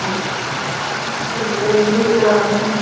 Halda hlífiskildi yfir mikilvægum tengilið